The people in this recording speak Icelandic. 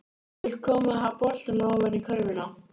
Vill koma boltanum ofan í körfuna.